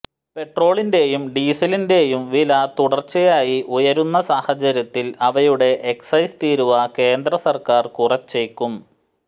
പെട്രോളിന്റെയും ഡീസലിന്റെയും വില തുടർച്ചയായി ഉയരുന്ന സാഹചര്യത്തിൽ അവയുടെ എക്സൈസ് തീരുവ കേന്ദ്രസർക്കാർ കുറച്ചേക്കും